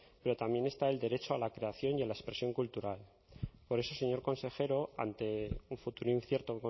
pero también está el derecho a la creación y a la expresión cultural por eso señor consejero ante un futuro incierto